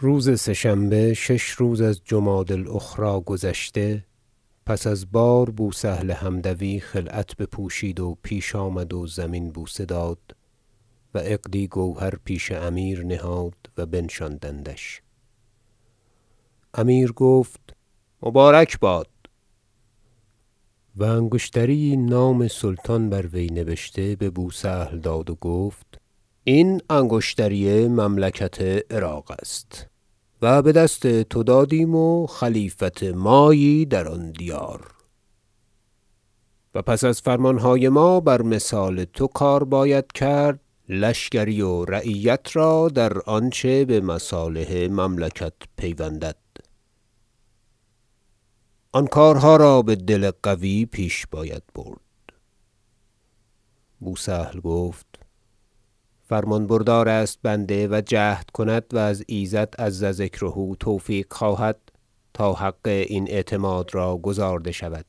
روز سه شنبه شش روز از جمادی الأخری گذشته پس از بار بوسهل حمدوی خلعت بپوشید و پیش آمد و زمین بوسه داد و عقدی گوهر پیش امیر نهاد و بنشاندندش امیر گفت مبارک باد و انگشتری یی نام سلطان بر وی نبشته ببوسهل داد و گفت این انگشتری مملکت عراق است و بدست تو دادیم و خلیفت مایی در آن دیار و پس از فرمانهای ما بر مثال تو کار باید کرد لشکری و رعیت را در آنچه بمصالح مملکت پیوندد آن کارها را بدل قوی پیش باید برد بوسهل گفت فرمان بردار است بنده و جهد کند و از ایزد عز ذکره توفیق خواهد تا حق این اعتماد را گزارده شود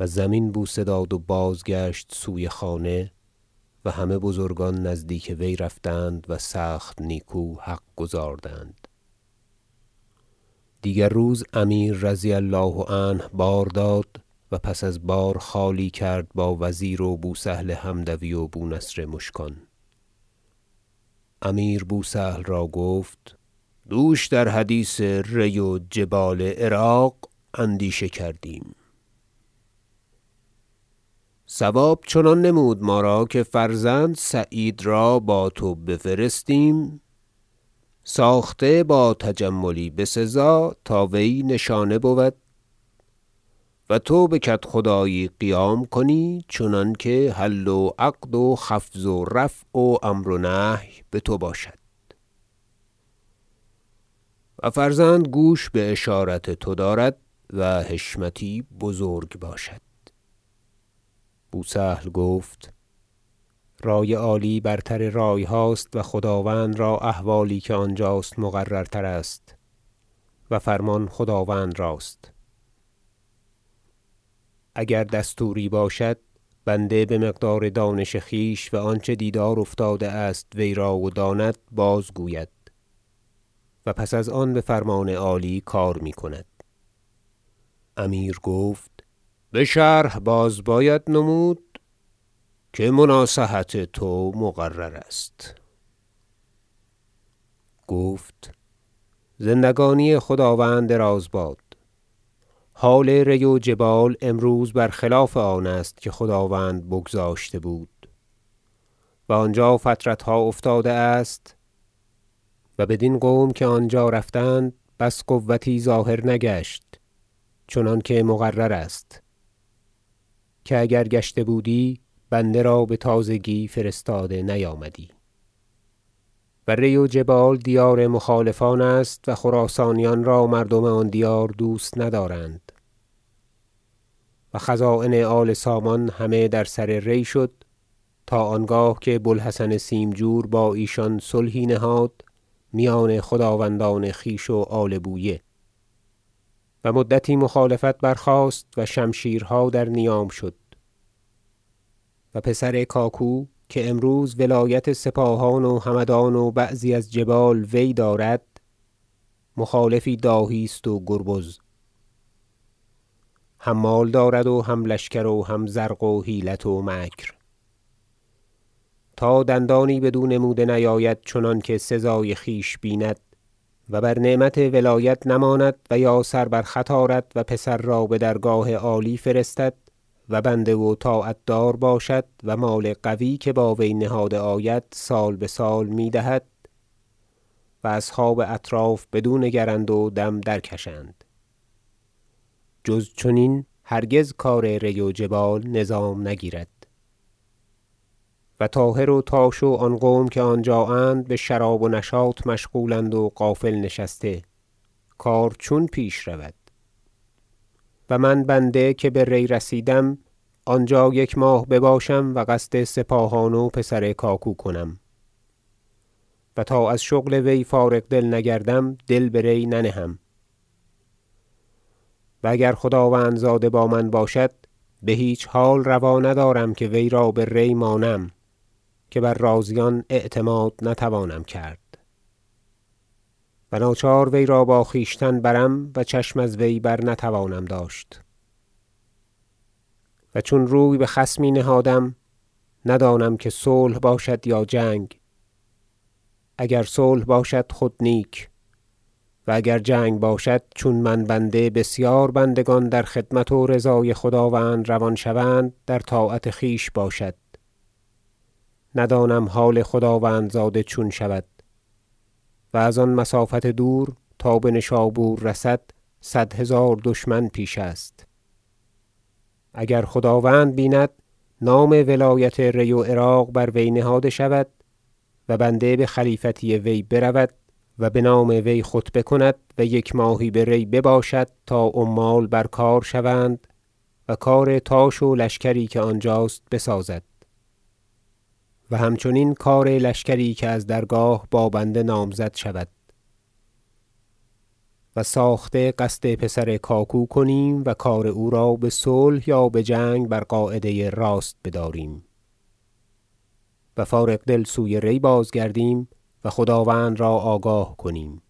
و زمین بوسه داد و بازگشت سوی خانه و همه بزرگان نزدیک وی رفتند و سخت نیکو حق گزاردند دیگر روز امیر رضی الله عنه بار داد و پس از بار خالی کرد با وزیر و بوسهل حمدوی و بونصر مشکان امیر بوسهل را گفت دوش در حدیث ری و جبال عراق اندیشه کردیم صواب چنان نمود ما را که فرزند سعید را با تو بفرستیم ساخته با تجملی بسزا تا وی نشانه بود و تو بکدخدایی قیام کنی چنانکه حل و عقد و خفض و رفع و امر و نهی بتو باشد و فرزند گوش باشارت تو دارد و حشمتی بزرگ باشد بوسهل گفت رای عالی برتر رایهاست و خداوند را احوالی که آنجاست مقررتر است و فرمان خداوند راست اگر دستوری باشد بنده بمقدار دانش خویش و آنچه دیدار افتاده است وی را و داند باز گوید و پس از آن بفرمان عالی کار میکند امیر گفت بشرح باز باید نمود که مناصحت تو مقرر است گفت زندگانی خداوند دراز باد حال ری و جبال امروز برخلاف آنست که خداوند بگذاشته بود و آنجا فترتها افتاده است و بدین قوم که آنجا رفتند بس قوتی ظاهر نگشت چنانکه مقرر است که اگر گشته بودی بنده را بتازگی فرستاده نیامدی و ری و جبال دیار مخالفان است و خراسانیان را مردم آن دیار دوست ندارند و خزاین آل سامان همه در سر ری شد تا آنگاه که بو الحسن سیمجور با ایشان صلحی نهاد میان خداوندان خویش و آل بویه و مدتی مخالفت برخاست و شمشیرها در نیام شد و پسر کاکو که امروز ولایت سپاهان و همدان و بعضی از جبال وی دارد مخالفی داهی است و گربز هم مال دارد و هم لشکر و هم زرق و حیلت و مکر تا دندانی بدو نموده نیاید چنانکه سزای خویش بیند و بر نعمت ولایت نماند و یا سر بر خط آرد و پسر را بدرگاه عالی فرستد و بنده و طاعت دار باشد و مال قوی که با وی نهاده آید سال بسال میدهد و اصحاب اطراف بدو نگرند و دم درکشند جز چنین هرگز کار ری و جبال نظام نگیرد و طاهر و تاش و آن قوم که آنجااند بشراب و نشاط مشغولند و غافل نشسته کار چون پیش رود و من بنده که به ری رسیدم آنجا یک ماه بباشم و قصد سپاهان و پسر کاکو کنم و تا از شغل وی فارغ دل نگردم دل به ری ننهم و اگر خداوندزاده با من باشد بهیچ حال رواندارم که وی را به ری مانم که بر رازیان اعتماد نتوانم کرد و ناچار وی را با خویشتن برم و چشم از وی برنتوانم داشت و چون روی بخصمی نهادم ندانم که صلح باشد یا جنگ اگر صلح باشد خود نیک و اگر جنگ باشد چون من بنده بسیار بندگان در خدمت و رضای خداوند روان شوند در طاعت خویش باشد ندانم تا حال خداوند زاده چون شود و از آن مسافت دور تا بنشابور رسد صد هزار دشمن پیش است اگر خداوند بیند نام ولایت ری و عراق بر وی نهاده شود و بنده بخلیفتی وی برود و بنام وی خطبه کند و یک ماهی به ری بباشد تا عمال برکار شوند و کارتاش و لشکری که آنجاست بسازد و همچنین کار لشکری که از درگاه با بنده نامزد شود و ساخته قصد پسر کاکو کنیم و کار او را بصلح یا بجنگ بر قاعده راست بداریم و فارغ دل سوی ری بازگردیم و خداوند را آگاه کنیم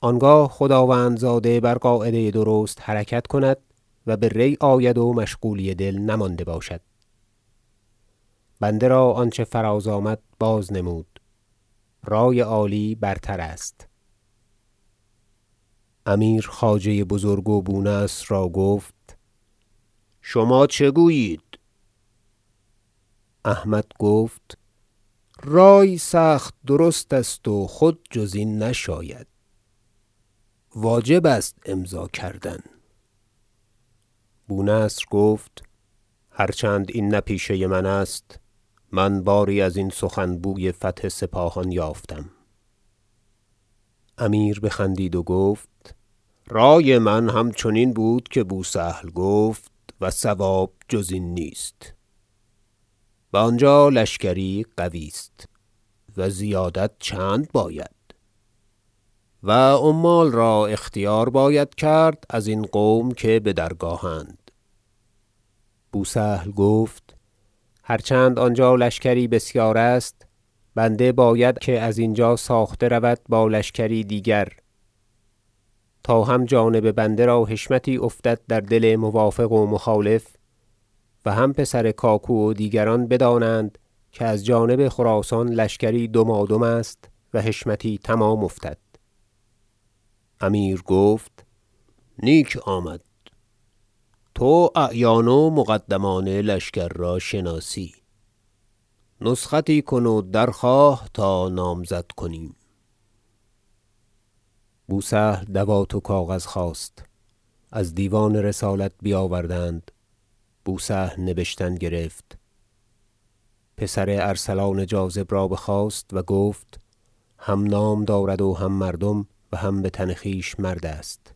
آنگاه خداوندزاده بر قاعده درست حرکت کند و به ری آید و مشغولی دل نمانده باشد بنده را آنچه فراز آمد بازنمود رای عالی برتر است امیر خواجه بزرگ و بونصر را گفت شما چه گویید احمد گفت رای سخت درست است و خود جز این نشاید واجب است امضا کردن بونصر گفت هر چند این نه پیشه من است من باری ازین سخن بوی فتح سپاهان یافتم امیر بخندید و گفت رای من همچنین بود که بوسهل گفت و صواب جز این نیست و آنجا لشکری قوی است و زیادت چند باید و عمال را اختیار باید کرد ازین قوم که بدرگاهند بوسهل گفت هر چند آنجا لشکری بسیار است بنده باید که از اینجا ساخته رود با لشکری دیگر تا هم جانب بنده را حشمتی افتد در دل موافق و مخالف و هم پسر کاکو و دیگران بدانند که از جانب خراسان لشکری دمادم است و حشمتی تمام افتد امیرگفت نیک آمد تو اعیان و مقدمان لشکر را شناسی نسختی کن و درخواه تا نامزد کنیم بوسهل دوات و کاغذ خواست از دیوان رسالت بیاوردند بوسهل نبشتن گرفت پسر ارسلان جاذب را بخواست و گفت هم نام دارد و هم مردم و هم بتن خویش مرد است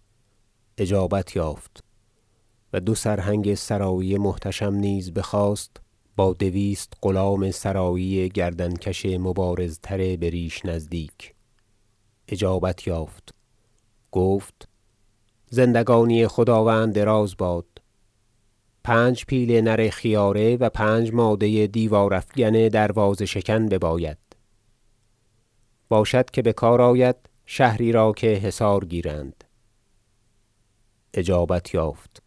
اجابت یافت و دو سرهنگ سرایی محتشم نیز بخواست با دویست غلام سرایی گردن کش مبارزتر بریش نزدیک اجابت یافت گفت زندگانی خداوند دراز باد پنج پیل نر خیاره و پنج ماده دیوار افکن دروازه شکن بباید باشد که بکار آید شهری را که حصار گیرند اجابت یافت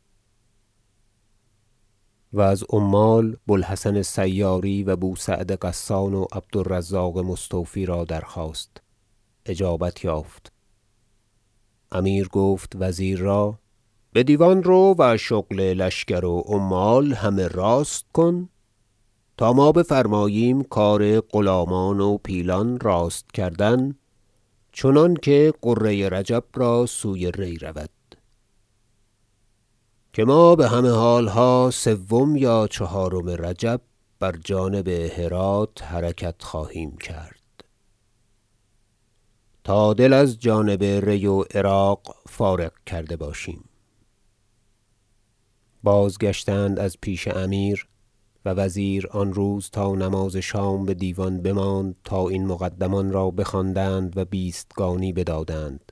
و از عمال بوالحسن سیاری و بوسعد غسان و عبد الرزاق مستوفی را درخواست اجابت یافت امیر گفت وزیر را بدیوان رو و شغل لشکر و عمال همه راست کن تا بفرماییم کار غلامان و پیلان راست کردن چنانکه غره رجب را سوی ری رود که ما بهمه حالها سوم یا چهارم رجب بر جانب هرات حرکت خواهیم کرد تا دل از جانب ری و عراق فارغ کرده باشیم بازگشتند از پیش امیر و وزیر آن روز تا نماز شام بدیوان بماند تا این مقدمان را بخواندند و بیستگانی بدادند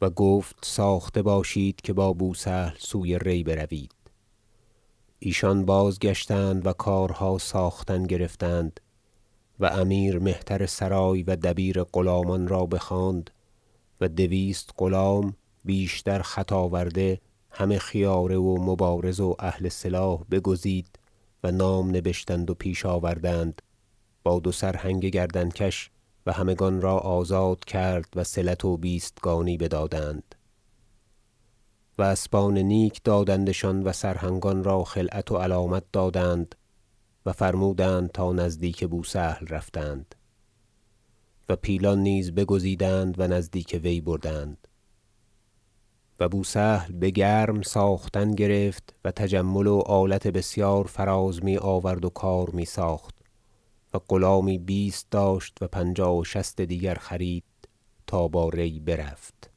و گفت ساخته باشید که با بوسهل سوی ری بروید ایشان بازگشتند و کارها ساختن گرفتند و امیر مهترسرای و دبیر غلامان را بخواند و دویست غلام بیشتر خط آورده همه خیاره و مبارز و اهل سلاح بگزید و نام نبشتند و پیش آوردند با دو سرهنگ گردن کش و همگان را آزاد کرد و صلت و بیستگانی بدادند و اسبان نیک دادندشان و سرهنگان را خلعت و علامت دادند و فرمودند تا نزدیک بوسهل رفتند و پیلان نیز بگزیدند و نزدیک وی بردند و بوسهل بگرم ساختن گرفت و تجمل و آلت بسیار فراز میآورد و کار میساخت و غلامی بیست داشت و پنجاه و شصت دیگر خرید تا با ری برفت